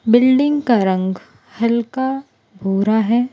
Building का रंग हल्का भुरा है।